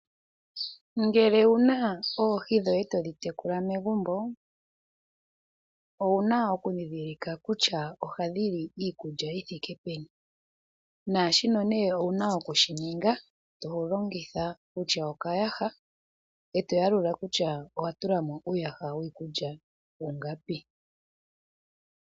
Ngele owuna oohi dhoye todhi tekula megumbo, owuna okundhindhilika kutya ohadhi li iikulya yithike peni , naashino owuna okushi ninga ngele tolongitha okayaha eto yalula kutya owatulamo uuyaha wiikulya ingapi .